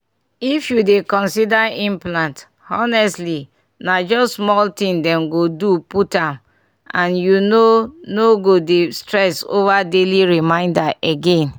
if you dey consider implant honestly na just small thing dem go do put am and you no no go dey stress over daily reminder again.